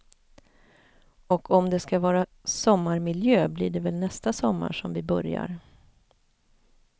Och om det ska vara sommarmiljö, blir det väl nästa sommar som vi börjar.